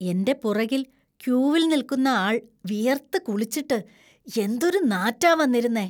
എന്‍റെ പുറകിൽ ക്യൂവിൽ നിൽക്കുന്ന ആൾ വിയർത്ത് കുളിച്ചിട്ട് എന്തൊരു നാറ്റാ വന്നിരുന്നേ.